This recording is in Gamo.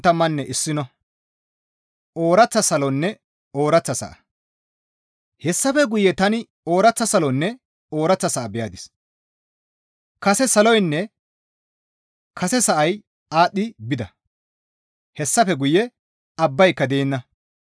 Hessafe guye tani ooraththa salonne ooraththa sa7a beyadis; kase saloynne kase sa7ay aadhdhi bida; hayssafe guye abbayka deenna.